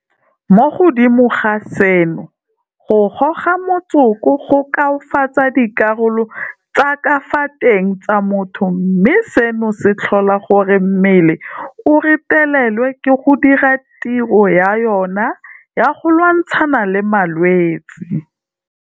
Mo godimo ga seno, go goga motsoko go koafatsa dikarolo tsa ka fa teng tsa motho mme seno se tlhola gore mmele o retelelwe ke go dira tiro ya yona ya go lwantshana le malwetse.